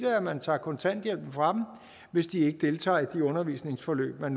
at man tager kontanthjælpen fra dem hvis de ikke deltager i de undervisningsforløb man